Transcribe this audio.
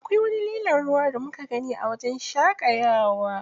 Akwai lilon ruwa da muka gani a wajen shaƙayawa.